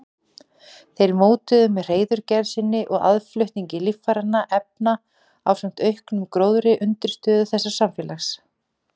Þeir mótuðu með hreiðurgerð sinni og aðflutningi lífrænna efna ásamt auknum gróðri undirstöðu þessa samfélags.